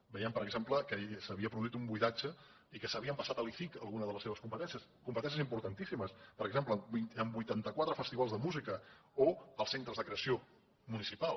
veiem per exemple que s’havia produït un buidatge i que s’havia passat a l’icic alguna de les seves competències competències importantíssimes per exemple vuitanta quatre festivals de música o els centres de creació municipal